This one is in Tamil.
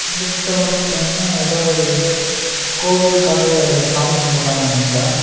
இந்த பிச்சர்ல பாத்தீங்கன்னா ஏதோ ஒரு கோவிலுக்காக சாமி கும்புடறாங்கன்னு நெனைக்கிறே.